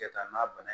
Kɛta n'a bana